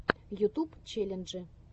ютуб челленджи